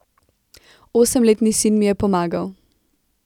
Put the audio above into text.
Osemletni sin mi je pomagal.